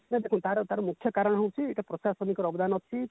ତାର ତାର ମୁଖ୍ୟ କାରଣ ହୋଉଛି ତାର ପ୍ରଶାସନିକ ଅବଦାନ ଅଛି